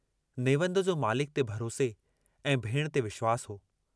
नेवंद जो मालिक ते भरोसे ऐं भेणु ते विश्वासु हो।